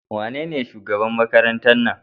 Wanene shugaban Makarantar nan?